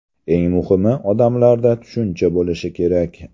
Eng muhimi odamlarda tushuncha bo‘lishi kerak.